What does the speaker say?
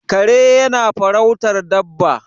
kare yana farautar Dabba